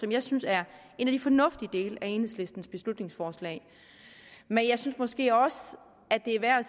jeg synes er en af de fornuftige dele af enhedslistens beslutningsforslag men jeg synes måske også at det er